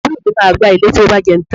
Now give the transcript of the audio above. Àbúrò mi máa gbá ilẹ̀ tí ó bá jẹun tán